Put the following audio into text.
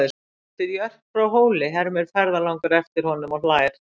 Manstu eftir Jörp frá Hóli, hermir ferðalangur eftir honum og hlær.